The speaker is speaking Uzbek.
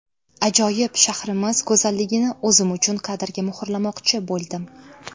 Ajoyib shahrimiz go‘zalligini o‘zim uchun kadrga muhrlamoqchi bo‘ldim.